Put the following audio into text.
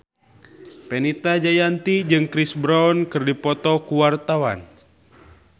Fenita Jayanti jeung Chris Brown keur dipoto ku wartawan